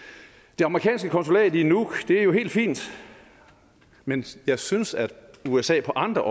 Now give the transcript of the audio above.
det amerikanske konsulat i nuuk er jo helt fint men jeg synes at usa på andre